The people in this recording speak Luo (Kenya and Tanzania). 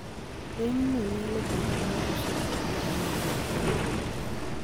Rem no nyalo bet ma osiko kata ma dhi to duogo